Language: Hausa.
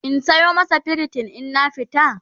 in Sayo masa pritin in na fita?